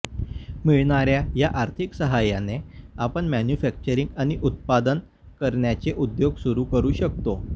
मिळणाऱ्या या आर्थिक साहाय्याने आपण मॅन्यूफॅक्चरिंग आणि उत्पादन करण्याचे उद्योग सुरू करू शकतो